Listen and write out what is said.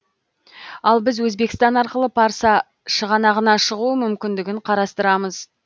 ал біз өзбекстан арқылы парсы шығанағына шығу мүмкіндігін қарастырамыз